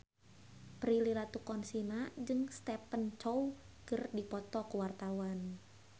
Prilly Latuconsina jeung Stephen Chow keur dipoto ku wartawan